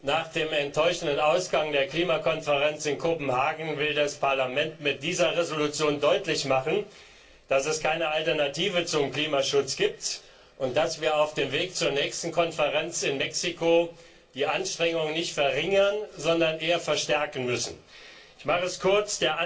Nach dem enttäuschenden Ausgang der Klimakonferenz in Kopenhagen will das Parlament mit dieser Entschließung deutlich machen, dass es keine Alternative zum Klimaschutz gibt und dass wir auf dem Weg zur nächsten Konferenz in Mexiko die Anstrengungen nicht verringern dürfen, sondern eher verstärken müssen. Ich mache es kurz.